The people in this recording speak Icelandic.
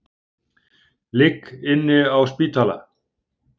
Ligg inni á spítala